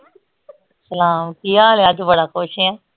ਸਲਾਮ ਕੀ ਹਾਲ ਆ ਅੱਜ ਬੜਾ ਖੁਸ਼ ਏਂ